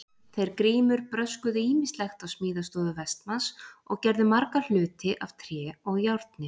Þeir Grímur bröskuðu ýmislegt á smíðastofu Vestmanns og gerðu marga hluti af tré og járni.